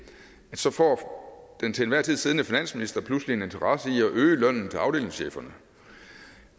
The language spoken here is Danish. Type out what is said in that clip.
så får den til enhver tid siddende finansminister pludselig en interesse i at øge lønningerne til afdelingscheferne